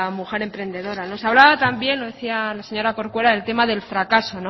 mujer emprendedora se hablaba también lo decía la señora corcuera el tema del fracaso